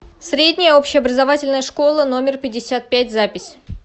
средняя общеобразовательная школа номер пятьдесят пять запись